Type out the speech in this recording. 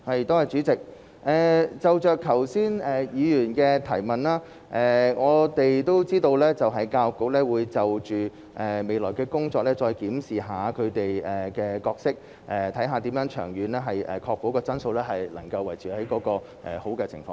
代理主席，關於議員剛才的補充質詢，我們知道教育局會就其未來的工作再檢視本身的角色，看看如何長遠確保質素能維持在良好狀況。